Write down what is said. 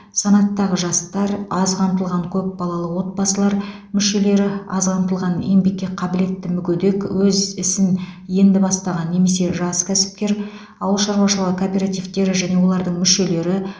санатындағы жастар аз қамтылған көпбалалы отбасылар мүшелері аз қамтылған еңбекке қабілетті мүгедек өз ісін енді бастаған немесе жас кәсіпкер ауыл шаруашылығы кооперативтері және олардың мүшелері